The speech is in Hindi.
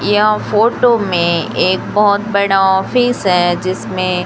यह फोटो में एक बहोत बड़ा ऑफिस है जिसमें--